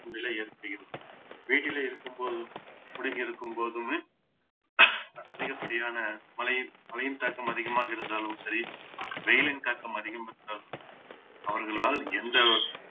நிலை ஏற்படுகிறது வீட்டிலே இருக்கும் போதும் முடங்கி இருக்கும்போதுமே அதிகப்படியான மழையின் மழையின் தாக்கம் அதிகமாக இருந்தாலும் சரி வெயிலின் தாக்கம் அதிகம் இருந்தாலும் சரி அவர்களால் எந்த